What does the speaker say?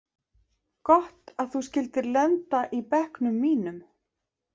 Gott að þú skyldir lenda í bekknum mínum.